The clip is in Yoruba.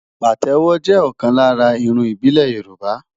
Pàtẹ́wọ́ jẹ́ ọ̀kan lára irun ìbílẹ̀ Yorùbá.